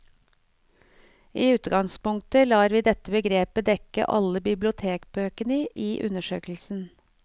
I utgangspunktet lar vi dette begrepet dekke alle bibliotekbøkene i undersøkelsen.